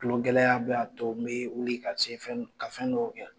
Tulo gɛlɛya bɛ a to n bɛ wuli ka se ka fɛn dɔw kɛ